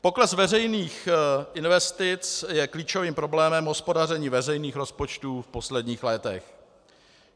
Pokles veřejných investic je klíčovým problémem hospodaření veřejných rozpočtů v posledních letech.